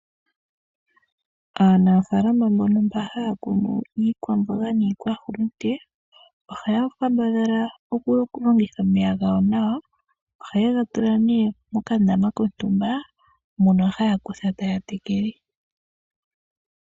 Aanafalama mbono haya kunu iikwamboga niikwahulunde, ohaya kambadhala oku longitha omeya nawa. Ohaye ga tula nee mokandama kontumba, mono haya kutha taya tekele.